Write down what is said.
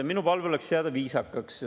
Minu palve oleks jääda viisakaks.